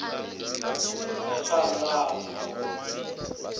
tshandama